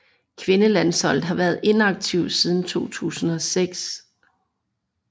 Kvindelandsholdet har været inaktivt siden 2006